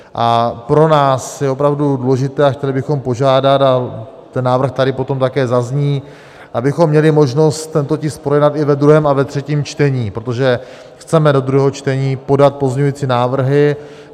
A pro nás je opravdu důležité, a chtěli bychom požádat, a ten návrh tady potom také zazní, abychom měli možnost tento tisk projednat i ve druhém a ve třetím čtení, protože chceme do druhého čtení podat pozměňující návrhy.